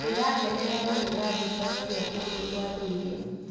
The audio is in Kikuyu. Ndĩrakenera kũhũra mbica cia kũndũ kwa ndũire.